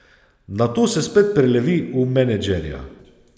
Nato se spet prelevi v menedžerja.